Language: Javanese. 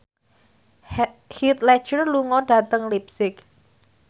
Heath Ledger lunga dhateng leipzig